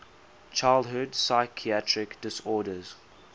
childhood psychiatric disorders